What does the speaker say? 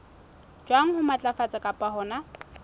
jwang ho matlafatsa kapa hona